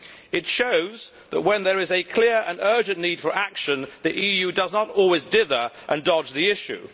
It shows that when there is a clear and urgent need for action the EU does not always dither and dodge the issue.